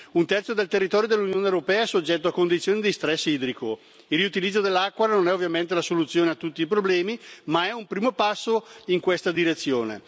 Un terzo del territorio dell'Unione europea è soggetto a condizioni di stress idrico. Il riutilizzo dell'acqua non è ovviamente la soluzione a tutti i problemi, ma è un primo passo in questa direzione.